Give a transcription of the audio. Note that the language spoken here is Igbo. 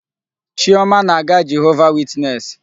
Chioma na-aga Jehova witness.